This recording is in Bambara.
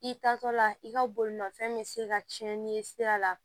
I taatɔ la i ka bolimafɛn bɛ se ka cɛnni ye sira la